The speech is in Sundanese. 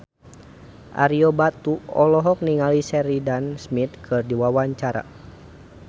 Ario Batu olohok ningali Sheridan Smith keur diwawancara